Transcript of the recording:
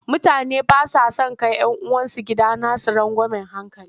Mutane ba sa son kai 'yan uwansu gidanasu rangwamen hankali.